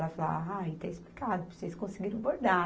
Ela falou, ah, aí está explicado, porque vocês conseguiram bordar